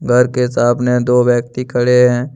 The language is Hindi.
घर के सामने दो व्यक्ति खड़े हैं।